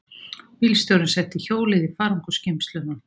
Bílstjórinn setti hjólið í farangursgeymsluna.